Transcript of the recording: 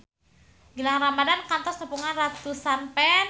Gilang Ramadan kantos nepungan ratusan fans